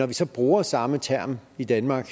vi så bruger samme term i danmark